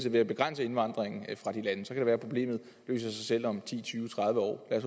ved at begrænse indvandringen fra de lande så kan det være problemet løser sig selv om ti tyve tredive år lad